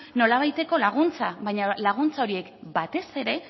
nolabaiteko laguntza baina laguntza horiek batez ere